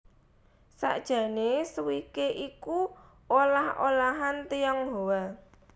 Sakjané Swikee iku olah olahan Tionghoa